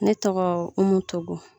Ne tɔgɔ Umu Togo